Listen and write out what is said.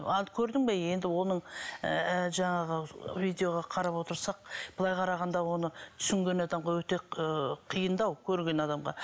ал көрдің бе енді оның ыыы жаңағы видеоға қарап отырсақ былай қарағанда оны түсінген адамға өте ыыы қиындау көрген адамға